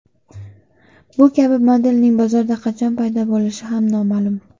Bu kabi modelning bozorda qachon paydo bo‘lishi ham noma’lum.